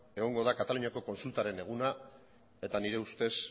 egongo da kataluniaren kontsultaren eguna eta nire ustez